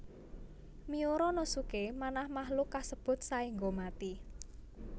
Miura no suke manah makhluk kasebut saéngga mati